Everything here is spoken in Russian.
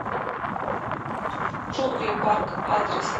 джунгли парк адрес